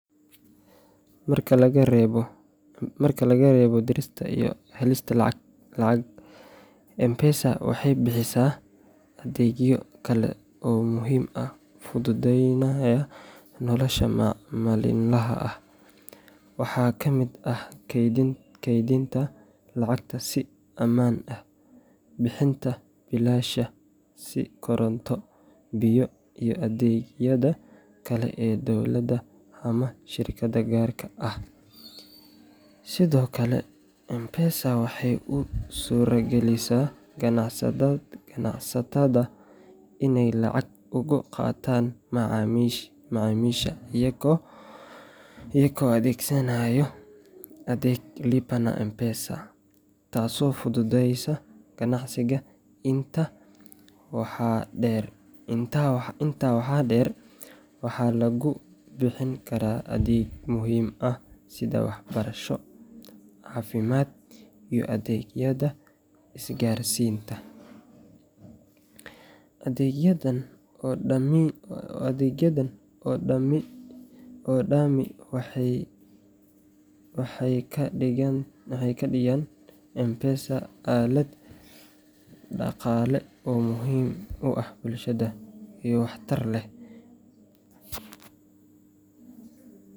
Marka laga reebo dirista iyo helista lacag, M-Pesa waxay bixisaa adeegyo kale oo muhiim ah oo fududeynaya nolosha maalinlaha ah. Waxaa ka mid ah kaydinta lacagta si ammaan ah, bixinta biilasha sida koronto, biyo, iyo adeegyada kale ee dowladda ama shirkadaha gaarka ah. Sidoo kale, M-Pesa waxay u suuragelisaa ganacsatada inay lacag uga qaataan macaamiisha iyagoo adeegsanaya adeega "Lipa na M-Pesa", taasoo fududeysa ganacsiga. Intaa waxaa dheer, waxaa lagu bixin karaa adeegyo muhiim ah sida waxbarasho, caafimaad, iyo adeegyada isgaarsiinta. Adeegyadan oo dhami waxay ka dhigayaan M-Pesa aalad dhaqaale oo muhiim u ah bulshada, iyo waxtar leh.